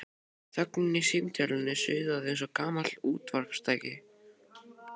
Þögnin í símtólinu suðaði eins og gamalt útvarpstæki.